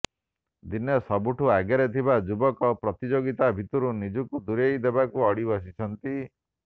ଦିନେ ସବୁଠୁ ଆଗରେ ଥିବା ଯୁବକ ପ୍ରତିଯୋଗିତାର ଭିଡ଼ରୁ ନିଜକୁ ଦୂରେଇ ଦେବାକୁ ଅଡ଼ି ବସିଛନ୍ତି